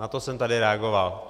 Na to jsem tady reagoval.